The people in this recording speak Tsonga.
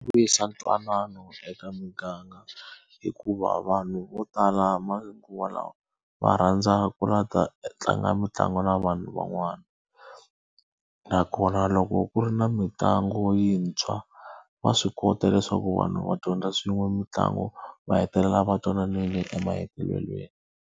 Vuyisa ntwanano eka muganga. Hikuva vanhu vo tala manguva lawa va rhandza ku lava ku ta tlanga mitlangu na vanhu van'wana. Nakona loko ku ri na mitlangu yintshwa, va swi kota leswaku vanhu va dyondza swin'we mitlangu, va hetelela va twananile emahetelelweni.